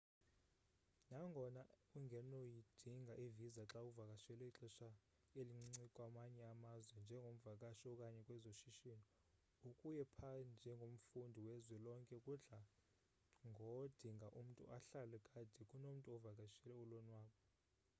nangona ungenoyidinga i-visa xawuvakashele ixesha elincinci kwamanye amazwe njengomvakashi okanye kwezoshishini ukuya pha njengomfundi wezwe lonke kudlango dinga umntu ahlale kade kunomntu ovakishele ulonwabo